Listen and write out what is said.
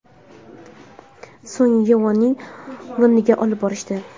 So‘ng Yu.A.ning yoniga olib borishdi.